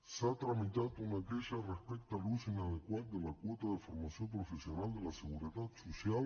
s’ha tramitat una queixa respecte a l’ús inadequat de la quota de formació professional de la seguretat social